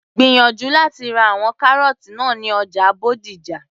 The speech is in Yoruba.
gbìyànjú láti ra àwọn kárọ́ọ́tì náà ní ọjà Bódìjà